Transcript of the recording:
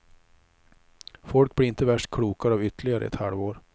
Folk blir inte värst klokare av ytterligare ett halvår.